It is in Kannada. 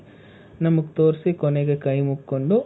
ನಮಗ್ ತೋರ್ಸಿ ಕೊನೆಗೆ ಕೈ ಮೂಕೊಂಡು,